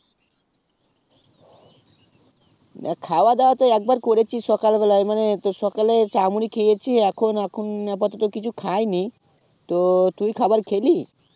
আ খাওয়া দাওয়া তো একবার করেছি সকাল বেলায় মানে সেই সকাল এ চা মুড়ি খেয়েছি এখন এখন আপাতত কিছু খাইনি তো তুই খাবার খেলি